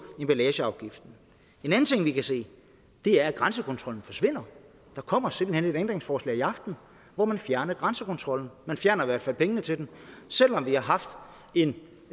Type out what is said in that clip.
emballageafgiften en anden ting vi kan se er at grænsekontrollen forsvinder der kommer simpelt hen et ændringsforslag i aften hvor man fjerner grænsekontrollen man fjerner i hvert fald pengene til den selv om vi har en